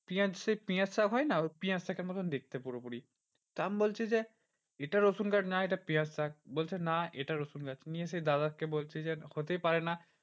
পিঁয়াজ সেই পিঁয়াজ শাক হয় না পিঁয়াজ শাকের মতন দেখতে পুরোপুরি। তা আমি বলছি যে, এটা রসুন গাছ না এটা পিঁয়াজগাছ বলছে না এটা রসুনগাছ। নিয়ে সেই দাদাকে বলছি যে হতেই পারে না।